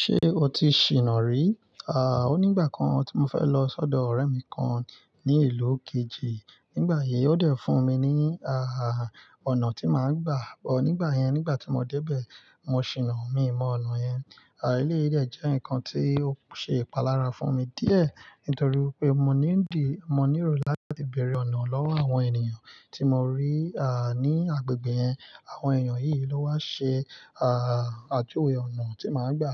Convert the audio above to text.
Ṣé o ti ṣìná rí? Àa onígbà kan tí mo fẹ́ lọ sọ́dọ̀ ọ̀rẹ́ mi kan ní ìlú kejì, nígbà yìí ó dẹ̀ fún mi ní, àh, ọ̀nà tí màá gbà. Bọ, nígbà yẹn, nígbà tí mo dé bẹ̀, mo ṣìná, mii mọ ọ̀nà yẹn. À, eleyii dẹ jẹ́ nǹkan tí ó ṣe ìpalára fún mi díẹ̀ nítorí wipé mo ní ń di, mo níro láti bèèrè ọ̀nà lọ́wọ́ àwọn ènìyàn tí mo rí, à, ní agbègbè yẹn. Àwọn èèyàn yìí ló wá ṣe, à à, juwe ọ̀nà tí màá gbà.